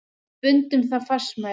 Við bundum það fastmælum.